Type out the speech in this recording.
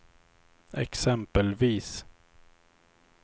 exempelvis